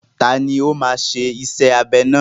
Tani ó máa ṣe iṣẹ́ abẹ náà?